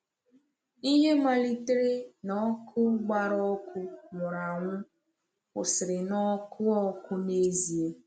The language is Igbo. Ihe malitere na ọkụ gbara ọkụ nwụrụ anwụ kwụsịrị na ọkụ ọkụ n’ezie.